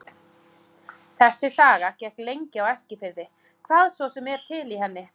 Þessi saga gekk lengi á Eskifirði, hvað svo sem er til í henni.